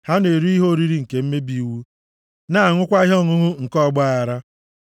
Ha na-eri ihe oriri nke mmebi iwu, na-aṅụkwa ihe ọṅụṅụ nke ọgbaaghara.